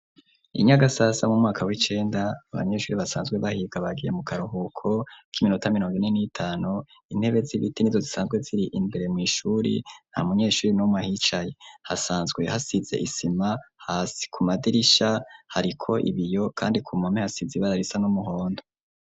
I Nyagasasa, mu mwaka w'icenda, abanyeshuri, basanzwe bahiga, bagiye mu karuhuko, k'iminota mirongo ine n'itanu; intebe z'ibiti, nizo zisanzwe ziri, imbere mw'ishuri; nta munyeshuri n'umwe ahicaye, hasanzwe hasize isima hasi, ku madirisha, hariko ibiyo, kandi ku mpome, hasize ibara risa, n'umuhondo.